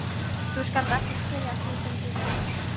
Þú skalt ekki spyrja að því sem þú veist